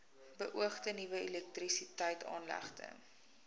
beoogde nuwe elektrisiteitsaanlegte